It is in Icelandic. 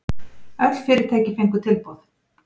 Öll fyrirtæki fengu tilboð